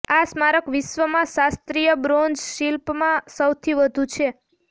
આ સ્મારક વિશ્વમાં શાસ્ત્રીય બ્રોન્ઝ શિલ્પમાં સૌથી વધુ છે